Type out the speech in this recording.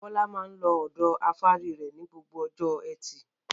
Bọ́lá máa ń lọ ọ̀dọ afárí rẹ̀ ní gbogbo ọjọ́ ẹtì.